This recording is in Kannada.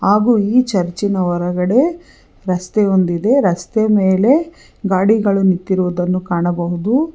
ಹಾಗು ಈ ಚರ್ಚ್ ಇನ ಹೊರಗಡೆ ರಸ್ತೆ ಒಂದಿದೆ ರಸ್ತೆ ಮೇಲೆ ಗಾಡಿಗಳು ನಿಂತಿರುವುದನ್ನು ಕಾಣಬಹುದು.